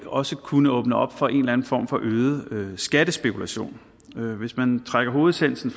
også kunne åbne op for en eller anden form for øget skattespekulation hvis man trækker hovedessensen